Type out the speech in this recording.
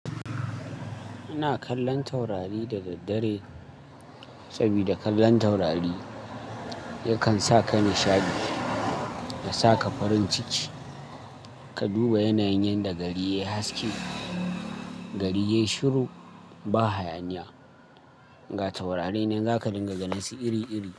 Ina kallon taurari da daddare sabida kallon taurari yakan sa ka nishaɗi, ya sa ka farin ciki, ka duba yanayin yanda gari yayi haske, gari yayi shiru ba hayaniya. Ga taurari nan za ka dinga ganin su iri-iri.